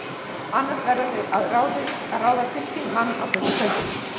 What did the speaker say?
Annars verða þau að ráða til sín mann á fullu kaupi.